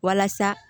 Walasa